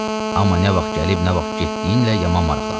Amma nə vaxt gəlib, nə vaxt getdiyinlə yaman maraqlanır.